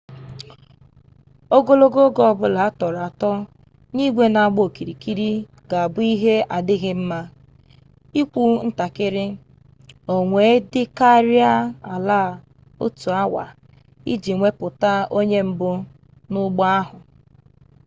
ogologo oge ọ bụla a tọrọ atọ n'igwe na-agba okirikiri ga-abụ ihe adighi nma ikwu ntakịrị o wee dịkarịa ala otu awa iji wepụta onye mbụ n'ụgbọ ahụ